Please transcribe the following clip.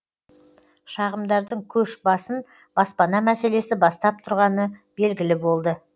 шағымдардың көш басын баспана мәселесі бастап тұрғаны белгілі болды